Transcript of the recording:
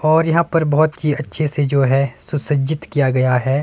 और यहां पर बहोत ही अच्छे से जो है सुसज्जित किया गया है।